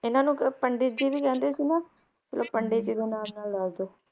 ਇਹਨਾਂ ਨੂੰ ਪੰਡਿਤ ਜੀ ਵੀ ਕਹਿੰਦੇ ਸੀ ਨਾ? ਚਲੋ ਪੰਡਿਤ ਜੀ ਦੇ ਨਾਲ ਨਾਲ ਦਸ ਦਿਓ